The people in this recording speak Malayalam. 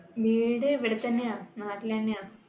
വീട് ഇവിടെത്തന്നെയാ, നാട്ടിലെന്നെയാ